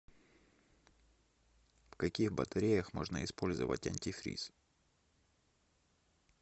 в каких батареях можно использовать антифриз